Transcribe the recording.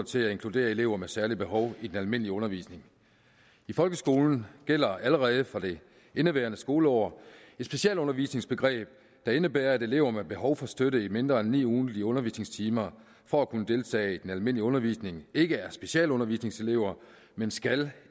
til at inkludere elever med særlige behov i den almindelige undervisning i folkeskolen gælder allerede for det indeværende skoleår et specialundervisningsbegreb der indebærer at elever med behov for støtte i mindre end ni ugentlige undervisningstimer for at kunne deltage i den almindelige undervisning ikke er specialundervisningselever men skal